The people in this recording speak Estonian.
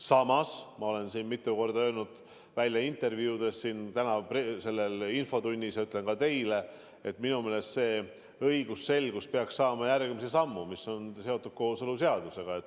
Samas ma olen oma intervjuudes mitu korda välja öelnud, samuti siin infotunnis ja ütlen praegu ka teile, et minu meelest õigusselguse huvides peaks astuma järgmise sammu, mis on seotud kooseluseadusega.